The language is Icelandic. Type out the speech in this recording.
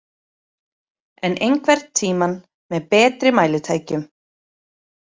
En einhvern tímann, með betri mælitækjum.